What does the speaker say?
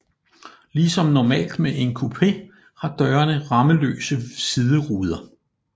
Ligesom normalt med en coupé har dørene rammeløse sideruder